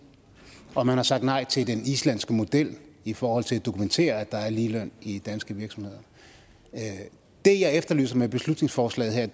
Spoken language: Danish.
og man har sagt nej til den islandske model i forhold til at dokumentere at der er ligeløn i danske virksomheder det jeg efterlyser med beslutningsforslaget her